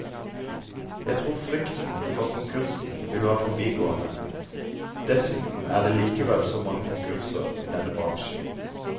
Jeg tror frykten for konkursen vil være forbigående, dessuten er det likevel så mange konkurser i denne bransjen.